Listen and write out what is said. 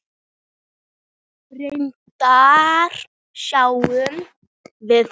Reyndar sjáum við að